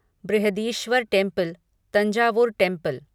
Brihadeeswara temple Thanjavur temple